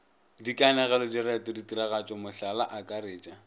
dikanegelo direto ditiragatšo mohlala akaretša